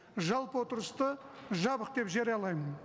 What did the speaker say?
жалпы отырысты жабық деп жариялаймын